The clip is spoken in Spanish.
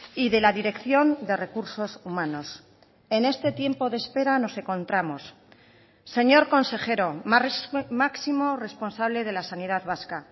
y de la dirección de recursos humanos en este tiempo de espera nos encontramos señor consejero máximo responsable de la sanidad vasca